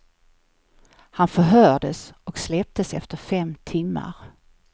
Han förhördes och släpptes efter fem timmar.